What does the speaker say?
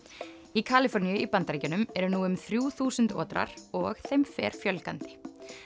í Kaliforníu í Bandaríkjunum eru nú um þrjú þúsund og þeim fer fjölgandi